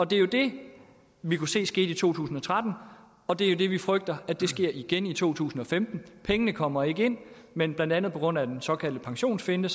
det er det vi kunne se skete i to tusind og tretten og det er jo det vi frygter sker igen i to tusind og femten pengene kommer ikke ind men blandt andet på grund af den såkaldte pensionsfinte